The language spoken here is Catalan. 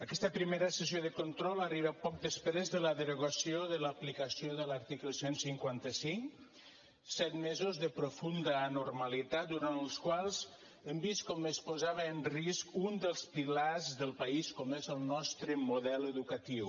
aquesta primera sessió de control arriba poc després de la derogació de l’aplicació de l’article cent i cinquanta cinc set mesos de profunda anormalitat durant els quals hem vist com es posava en risc un dels pilars del país com és el nostre model educatiu